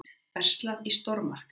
Verslað í stórmarkaði.